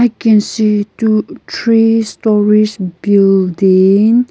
can see two three storeys building.